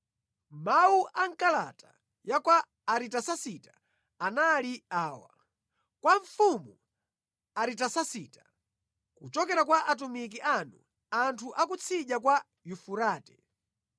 Mawu a mʼkalata ya kwa Aritasasita anali awa: Kwa mfumu Aritasasita: Kuchokera kwa atumiki anu, anthu a kutsidya kwa Yufurate: